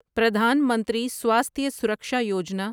Pradhan Mantri Swasthya Suraksha Yojana